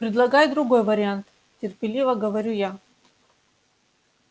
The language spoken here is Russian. предлагай другой вариант терпеливо говорю я